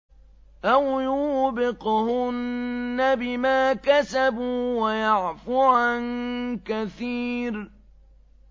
أَوْ يُوبِقْهُنَّ بِمَا كَسَبُوا وَيَعْفُ عَن كَثِيرٍ